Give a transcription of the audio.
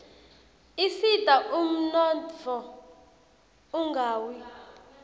asita umnotfo ungawi